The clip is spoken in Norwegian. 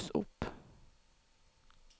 mus opp